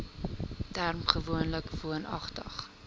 term gewoonlik woonagtig